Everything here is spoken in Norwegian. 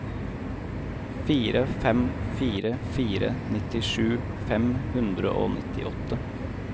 fire fem fire fire nittisju fem hundre og nittiåtte